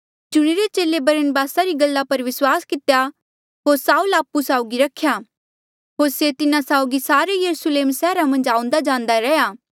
चुणिरे चेले बरनबास री गल्ला पर विस्वास कितेया होर साऊल आपु साउगी रखेया होर से तिन्हा साउगी सारे यरुस्लेम सैहरा मन्झ आऊंदा जांदा रैंहयां